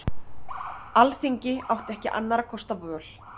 Alþingi átti ekki annarra kosta völ